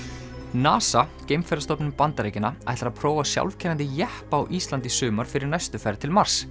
NASA Bandaríkjanna ætlar að prófa sjálfkeyrandi jeppa á Íslandi í sumar fyrir næstu ferð til Mars